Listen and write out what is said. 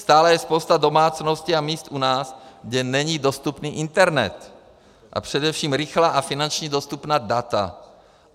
Stále je spousta domácností a míst u nás, kde není dostupný internet a především rychlá a finančně dostupná data.